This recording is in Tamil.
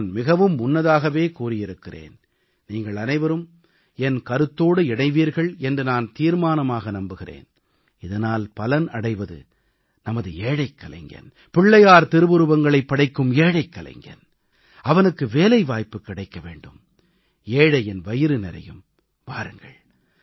இந்த முறை நான் மிகவும் முன்னதாகவே கூறியிருக்கிறேன் நீங்கள் அனைவரும் என் கருத்தோடு இணைவீர்கள் என்று நான் தீர்மானமாக நம்புகிறேன் இதனால் பலன் அடைவது நமது ஏழைக் கலைஞன் பிள்ளையார் திருவுருவங்களைப் படைக்கும் ஏழைக் கலைஞன் அவனுக்கு வேலைவாய்ப்பு கிடைக்க வேண்டும் ஏழையின் வயிறு நிறையும்